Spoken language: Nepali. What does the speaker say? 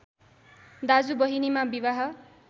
दाजु बहिनीमा विवाह